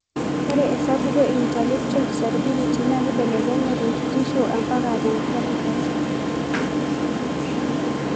Ore esapuko e intellectual disability na kibelekenya tekitisho ampaka tekatikati.